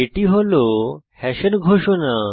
এটি হল হ্যাশের ঘোষণা